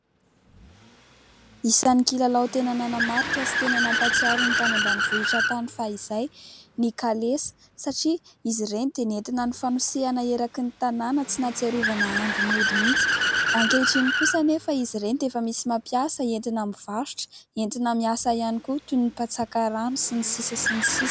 Isan'ny kilalao tena nanamarika sy tena nampahatsiaro ny tany ambanivohitra tany fahizay ny kalesa satria izy ireny dia nentina nifanosehana eraky ny tanàna, tsy nahatsiarovana andro mody mihitsy ; ankehitriny kosa anefa izy ireny dia efa misy mampiasa entina mivarotra, entina miasa ihany koa toy ny mpatsaka rano sy ny sisa sy ny sisa.